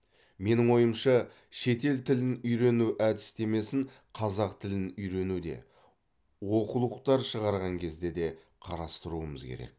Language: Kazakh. менің ойымша шетел тілін үйрену әдістемесін қазақ тілін үйренуде оқулықтар шығарған кезде де қарастыруымыз керек